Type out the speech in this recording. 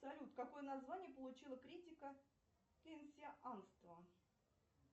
салют какое название получила критика кейнсианства